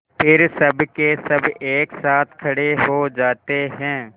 फिर सबकेसब एक साथ खड़े हो जाते हैं